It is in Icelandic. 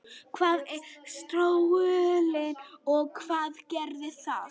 Hvað er sortuæxli og hvað gerir það?